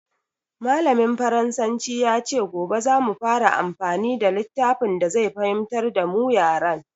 Mallamin faransanci ya ce gobe za mu fara amfani da littafin da zai fahimtar da mu yaren.